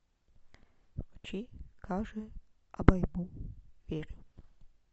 включи кажэ обойму верю